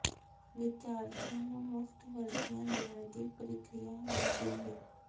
ਵਿਦਿਆਰਥੀਆਂ ਨੂੰ ਮੁਫਤ ਵਰਦੀਆਂ ਦੇਣ ਦੀ ਪ੍ਰਕਿਰਿਆ ਵੀ ਢਿੱਲੀ